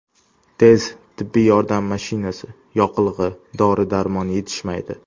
Tez tibbiy yordam mashinasi, yoqilg‘i, dori-darmon yetishmaydi.